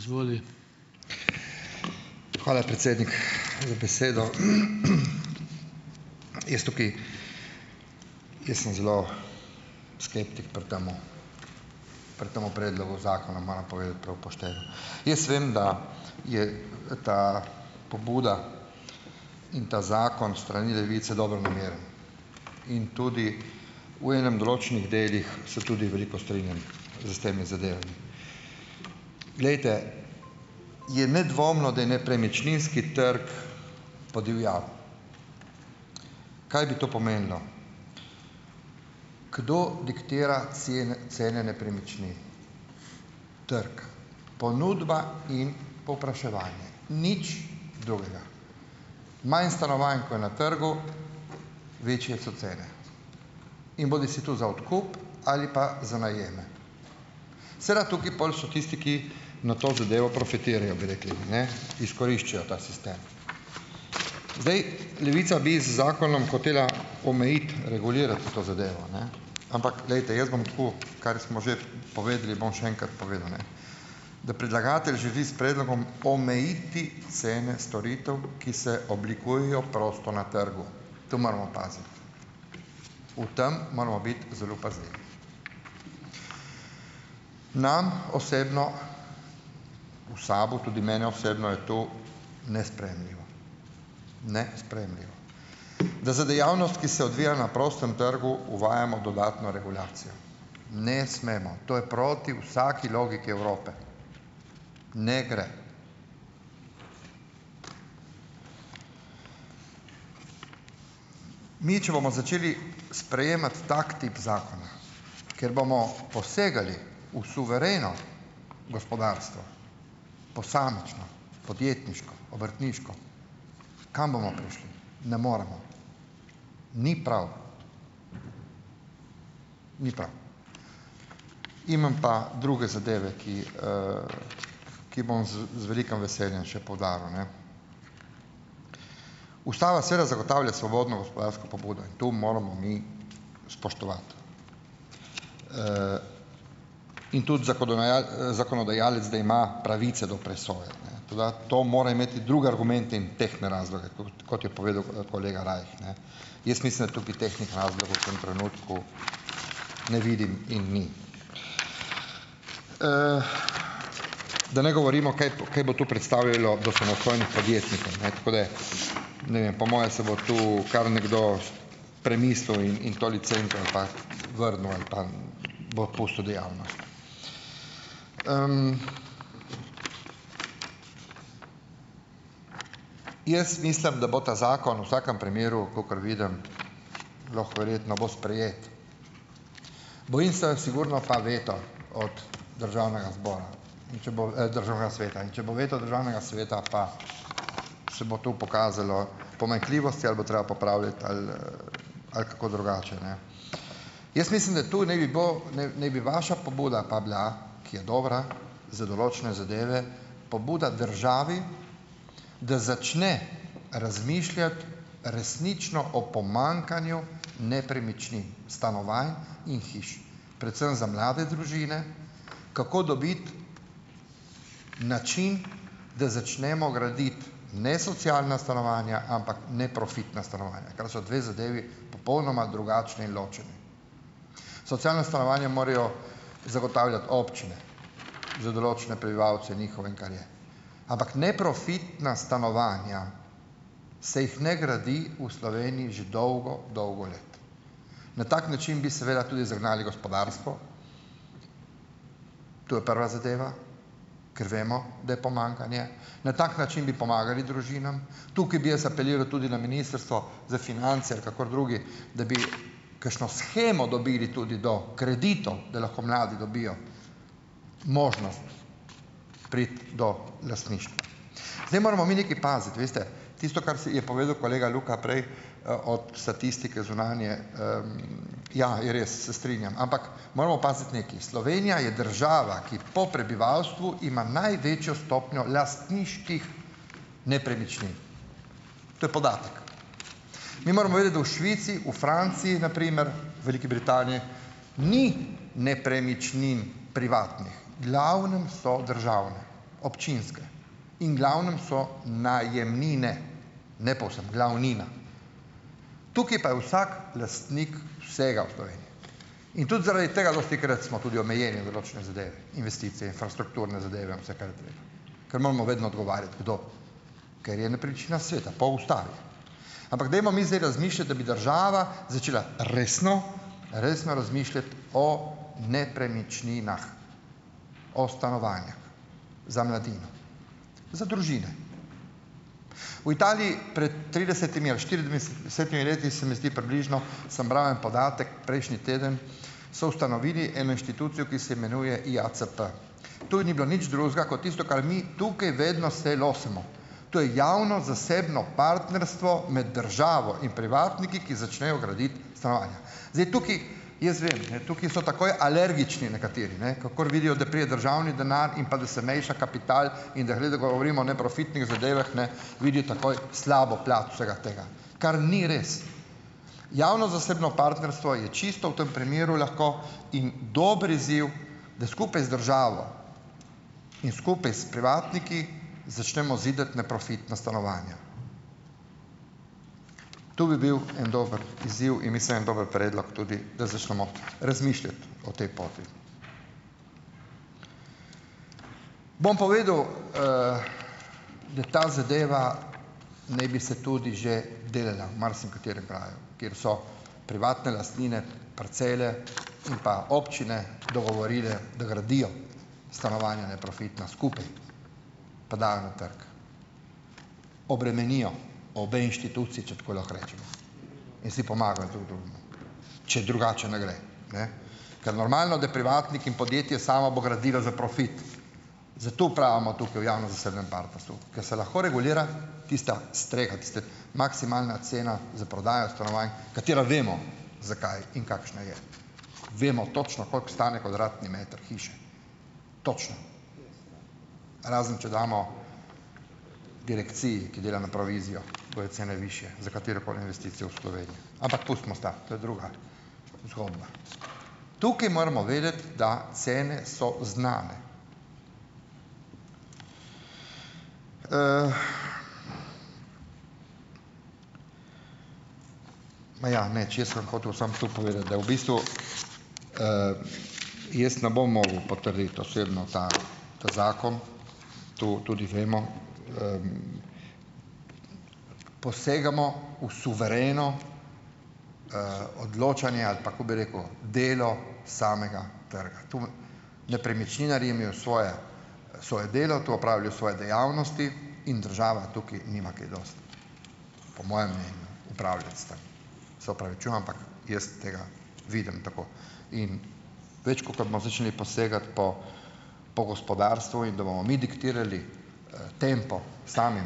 Izvoli. Hvala, predsednik za besedo. Jaz tukaj, jaz sem zelo skeptik pri tem, pri temu predlogu zakona, moram povedati prav pošteno, jaz vem, da je ta pobuda in ta zakon s strani Levice dobronameren in tudi v enem določenih delih se tudi veliko strinjam s temi zadevami. Glejte, je nedvomno, da je nepremičninski trg podivjal, kaj bi to pomenilo kdo diktira cene nepremičnin, trg, ponudba in povpraševanje, nič drugega, manj stanovanj, ko je na trgu, večje so cene, in bodisi tu za odkup ali pa za najeme, seveda tukaj pol so tisti, ki na to zadevo profitirajo, bi rekli, ne, izkoriščajo ta sistem, zdaj, Levica bi z zakonom hotela omejiti, regulirati to zadevo, ne, ampak glejte, jaz bom tako, kar smo že povedali, bom še enkrat povedal, ne, da predlagatelj živi s predlogom omejiti cene storitev, ki se oblikujejo prosto na trgu, to moramo paziti, v tem moramo biti zelo pazljivi, nam osebno, v SAB-u, tudi meni osebno, je to nesprejemljivo, nesprejemljivo, da za dejavnost, ki se odvija na prostem trgu, uvajamo dodatno regulacijo, ne smemo, to je proti vsaki logiki Evrope, ne gre, mi če bomo začeli sprejemati tak tip zakona, ker bomo posegali v suvereno gospodarstvo, posamično, podjetniško, obrtniško, kam bomo prišli, ne moremo, ni prav, ni prav, imam pa druge zadeve, ki, ki bom z, z velikim veseljem še poudaril, ne, ustava seveda zagotavlja svobodno gospodarsko pobudo, tu moramo mi spoštovati, in tudi zakonodajalec, da ima pravice do presoje, ne, toda to mora imeti druge argumente in tehtne razloge, kot, kot je povedal kolega Rajh, ne, jaz mislim, da tukaj tehtnih razlogov v tem trenutku ne vidim in ni, da ne govorimo, kaj, kaj bo tu predstavljalo do samostojnih podjetnikov, tako da ne vem, po moje se bo to kar nekdo premislil in vrnil ali pa bo opustil dejavnost, jaz mislim, da bo ta zakon vsakem primeru, kakor vidim, lahko, verjetno bo sprejet, bojim se, a sigurno pa veto od državnega zbora, če bo, državnega sveta in če bo veto državnega sveta, pa se bo to pokazalo pomanjkljivosti, ali bo treba popravljati ali ali kako drugače, ne, jaz mislim, da to naj bi, bo, naj ne bi vaša pobuda pa bila, ki je dobra za določene zadeve, pobuda državi, da začne razmišljati resnično o pomanjkanju nepremičnin stanovanj in hiš predvsem za mlade družine, kako dobiti način, da začnemo graditi ne socialna stanovanja, ampak neprofitna stanovanja, kar sta dve zadevi, popolnoma drugačni in ločeni, socialna stanovanja morajo zagotavljati občine za določene prebivalce njihove, kar je, ampak neprofitna stanovanja se jih ne gradi v Sloveniji že dolgo dolgo let, na tak način bi seveda tudi zagnali gospodarstvo, to je prva zadeva, ker vemo, da je pomanjkanje, na tak način bi pomagali družinam tukaj bi jaz apeliral tudi na ministrstvo za finance ali kakor drugi, da bi kakšno shemo dobili tudi do kreditov, da lahko mladi dobijo možnost priti do lastništva, zdaj moramo mi nekaj paziti, veste, tisto, kar si je povedal kolega Luka prej, ob statistike zunanje, ja, je res, se strinjam, ampak moramo paziti nekaj, Slovenija je država, ki po prebivalstvu ima največjo stopnjo lastniških nepremičnin, to je podatek, mi moramo vedeti, da v Švici, v Franciji, na primer Veliki Britaniji, ni nepremičnin privatnih v glavnem so državne, občinske in glavnem so najemnine, ne povsem, glavnina, tukaj pa je vsak lastnik vsega v Sloveniji in tudi zaradi tega dostikrat smo tudi omejeni za določene zadeve, investiciji infrastrukturne zadeve in vse, kar gre, ker moramo vedno odgovarjati, kdo, ker je nepremičnina sveta po ustavi, ampak dajmo mi zdaj razmišljati, da bi država začela resno resno razmišljati o nepremičninah, o stanovanjih za mladino, za družine. V Italiji pred tridesetimi ali štiriindvajsetimi leti, se mi zdi, približno, sem bral en podatek prejšnji teden, so ustanovili eno inštitucijo, ki se imenuje IACP, to ni bilo nič drugega ko tisto, kar mi tukaj vedno se losamo, to je javno-zasebno partnerstvo med državo in privatniki, ki začnejo graditi stanovanja, zdaj, tukaj jaz vem, ne, tukaj so takoj alergični nekateri, ne, kakor vidijo, da pride državni denar in pa da se meša kapital in da govorimo o neprofitnih zadevah, ne, vidijo takoj slabo plat vsega tega, kar ni res, javno-zasebno partnerstvo čisto v tem primeru lahko in dober izziv, da skupaj z državo in skupaj s privatniki začnemo zidati neprofitna stanovanja, to bi bil en dober izziv in mislim en dober predlog tudi, da začnemo razmišljati o tej poti, bom povedal, da ta zadeva naj bi se tudi že delala v marsikaterem kraju, kjer so privatne lastnine, parcele, in pa občine dogovorile, da gradijo stanovanja neprofitna skupaj pa dajo na trg, obremenijo obe inštituciji, če tako lahko rečemo, in si pomagajo, če drugače ne gre, ne, ker normalno da privatnik in podjetje samo bo gradilo za profit, zato pravimo tukaj v javno-zasebnem partnerstvu, ker se lahko regulira tista streha, tista maksimalna cena za prodajo stanovanj, katero vemo, zakaj in kakšna je, vemo točno, koliko stane kvadratni meter hiše, točno, razen če damo direkciji, ki dela na provizijo, bojo cene višje za katerokoli investicijo v Sloveniji, ampak pustimo stvar, to je druga, izhodna, tukaj moramo vedeti, da cene so znane, ma ja, ne, če sem hotel samo to povedati da v bistvu, jaz ne bom mogel potrditi osebno ta, ta, zakon, tu tudi vemo, posegamo v suvereno, odločanje ali pa, kot bi rekel, delo samega trga, tam nepremičninar je imel svoje, svoje delo, tu je opravljal svoje dejavnosti in država tukaj nima kaj dosti po mojem mnenju opravljati s tem, se opravičujem, ampak jaz tega vidim tako in po gospodarstvu in da bomo mi diktirali, tempo samim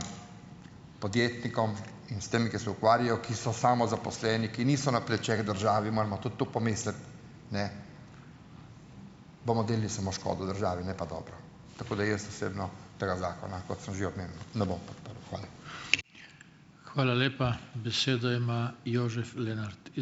podjetnikom in s tem, ki se ukvarjajo, ki so samozaposleni, ki niso na plečih države, in moramo tudi tu pomisliti, ne, bomo delali samo škodo državi, ne pa dobro, tako da jaz osebno tega zakona, kot sem že omenil, ne bom podprl. Hvala. Hvala lepa. Besedo ima Jožef Lenart ...